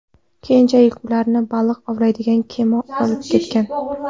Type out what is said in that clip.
Keyinchalik ularni baliq ovlaydigan kema olib ketgan.